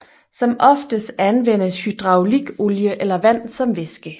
Som oftest anvendes hydraulikolie eller vand som væske